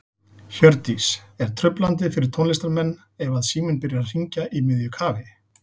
Hjördís: Er truflandi fyrir tónlistarmenn ef að síminn byrjar að hringja í miðju kafi?